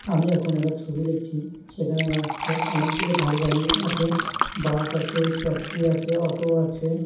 আমি এখন একটা ছবি দেখছি। সেখানে রাস্তায় অনেকগুলো গাড়ি দাঁড়িয়ে আছে বাস আছে ট্যাক্সি আছে অটো আছে।